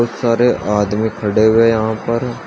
सारे आदमी खड़े हुए हैं यहां पर।